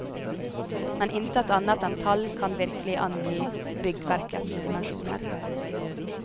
Men intet annet enn tall kan virkelig angi byggverkets dimensjoner.